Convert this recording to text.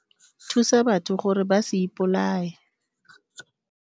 Thusa batho gore ba se ipolaye.